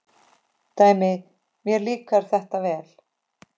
Dæmi: Mér líkar þetta vel.